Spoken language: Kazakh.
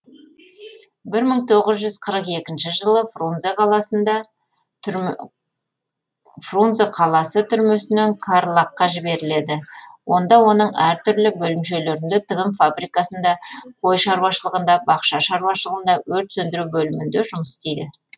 бір мың тоғыз жүз қырық екінші жылы фрунзе қаласы түрмесінен карлаг қа жіберіледі онда оның әр түрлі бөлімшелерінде тігін фабрикасында қой шаруашылығында бақша шаруашылығында өрт сөндіру бөлімінде жұмыс істейді